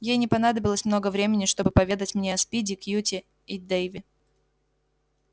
ей не понадобилось много времени чтобы поведать мне о спиди кьюти и дейве